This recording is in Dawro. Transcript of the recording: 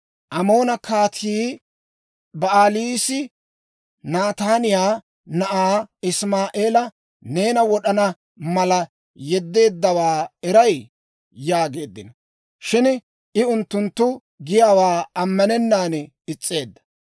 «Amoona Kaatii Ba'aliisi Nataaniyaa na'aa Isimaa'eela neena wod'ana mala yeddeeddawaa eray?» yaageeddino. Shin I unttunttu giyaawaa ammanennan is's'eedda.